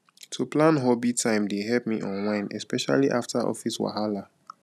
to plan hobby time dey help me unwind especially after office wahala